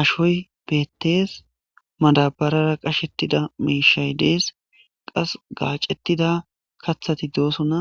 ashoy beettees madabarara qashettida miishay dees qas gaacetida kathati dooso na